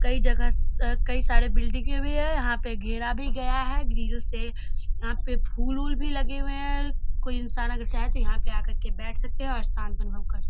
कई जगह कई सारे बिल्डिंगे भी हैं। यहाँ पे घेरा भी गया है ग्रिल से यहाँ पे फूल-वूल भी लगे हुए हैं कोई इंसान अगर चाहे यहाँ पर आके बैठ सकते हैं और शाम का अनुभव कर --